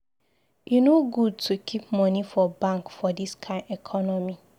E no good to keep moni for bank for dis kain economy.